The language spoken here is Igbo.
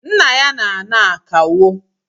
Nna ya n'ana akawo